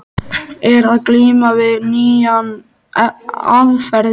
Er að glíma við nýjar aðferðir.